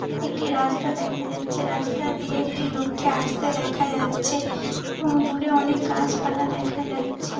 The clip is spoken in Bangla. একটি রাস্তা দেখা যাচ্ছে রাস্তা দিয়ে একটি লোককে আস্তে দেখা যাচ্ছে। এবং দুরে অনেক গাছপালা দেখা যাচ্ছে।